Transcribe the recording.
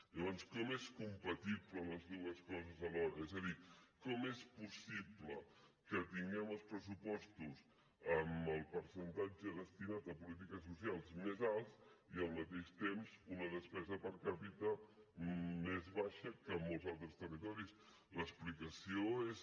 llavors com és compatible les dues coses alhora és a dir com és possible que tinguem els pressupostos amb el percentatge destinat a polítiques socials més alts i al mateix temps una despesa per capita més baixa que molts altres territoris l’explicació és